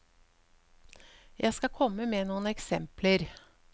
Jeg skal komme med noen eksempler.